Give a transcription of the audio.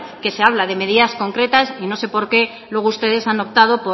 que se habla de medidas concretas y no sé por qué luego ustedes han optado